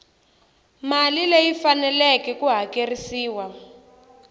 mali leyi faneleke ku hakerisiwa